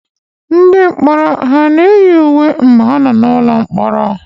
Ndị mkpọrọ hà na-eyi uwe mgbe ha nọ n'ụlọ mkpọrọ?